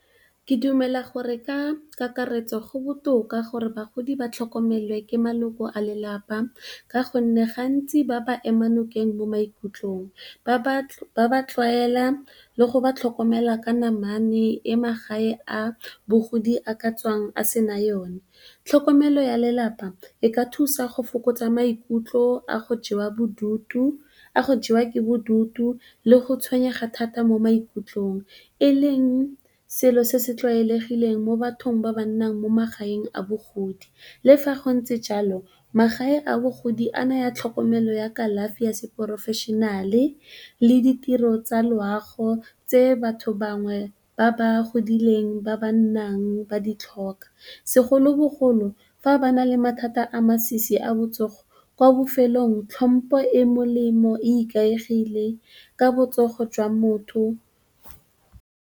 Ke dumela gore ka kakaretso go botoka gore bagodi ba tlhokomelwe ke maloko a lelapa ka gonne gantsi ba ba ema nokeng mo maikutlong, ba ba tlwaela, le go ba tlhokomela ka namane e magae a mogodi a ka tswang a sena yone. Tlhokomelo ya lelapa e ka thusa go fokotsa maikutlo a go jewa ke bodutu le go tshwenyega thata mo maikutlong e leng selo se se tlwaelegileng mo bathong ba ba nnang mo magaeng a bogodi. Le fa go ntse jalo magae a bogodi a naya tlhokomelo ya kalafi ya seporofešenale le ditiro tsa loago tse batho bangwe ba ba godileng ba ba nnang ba di tlhoka, segolobogolo fa ba na le mathata a masisi a botsogo. Kwa bofelong tlhompo e molemo e ikaegile ka botsogo jwa motho.